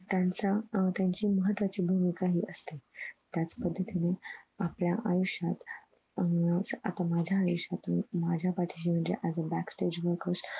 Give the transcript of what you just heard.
त्यांच्या हम्म त्यांची महत्वाची भूमिका हि असते त्याच पद्धतीने आपल्या आयुष्यात हम्म आता माझ्या आयुष्यातुन माझ्या पाठीशी म्हणजे as a back stage म्हणून